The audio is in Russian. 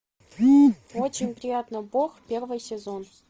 очень приятно бог первый сезон